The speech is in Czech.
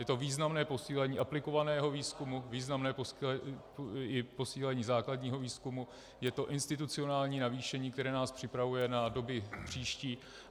Je to významné posílení aplikovaného výzkumu, významné posílení i základního výzkumu, je to institucionální navýšení, které nás připravuje na doby příští.